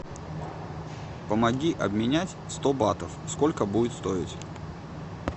помоги обменять сто батов сколько будет стоить